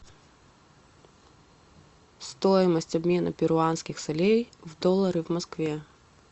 стоимость обмена перуанских солей в доллары в москве